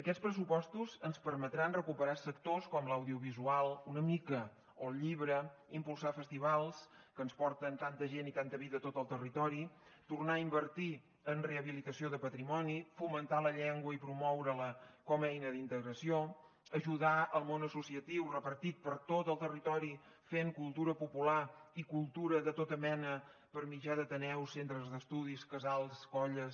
aquests pressupostos ens permetran recuperar sectors com l’audiovisual una mica o el llibre impulsar festivals que ens porten tanta gent i tanta vida a tot el territori tornar a invertir en rehabilitació de patrimoni fomentar la llengua i promoure la com a eina d’integració ajudar al món associatiu repartit per tot el territori fent cultura popular i cultura de tota mena per mitjà d’ateneus centres d’estudis casals colles